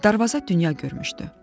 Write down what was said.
Darvaza dünya görmüşdü.